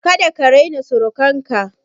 Kada ka raina surukan ka!